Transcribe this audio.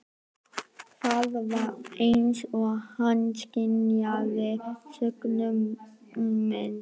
Það var eins og hann skynjaði söknuð minn.